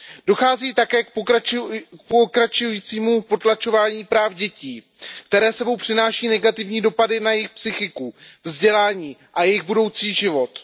Dochází také k pokračujícímu potlačování práv dětí, které s sebou přináší negativní dopady na jejich psychiku, vzdělání a jejich budoucí život.